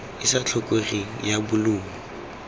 e sa tlhokegeng ya bolumo